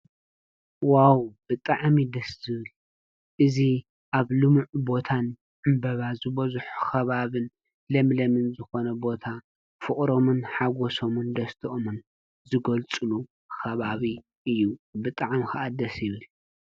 ዋዉ ብጣዕሚ ደስ ዝብል እዚ አብ ልሙዕ ቦታን ዕምበባ ዝበዝሖ ከባቢን ለምለምን ዝኮነን ቦታ ፍቅሮምን ሓጎሶምን ደስተኦምን ዝገልፁሉ ኸባቢ እዪ ብጣዕሚ ኸአ ደስ ይብል ።